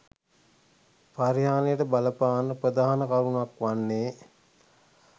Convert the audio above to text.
පරිහානියට බලපාන ප්‍රධාන කරුණක් වන්නේ